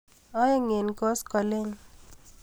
Aeng' ak koskoliny.